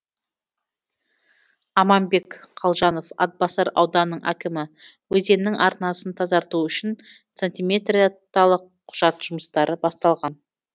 аманбек қалжанов атбасар ауданының әкімі өзеннің арнасын тазарту үшін сантиметреталық құжат жұмыстары басталған